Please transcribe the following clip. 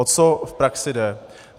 O co v praxi jde?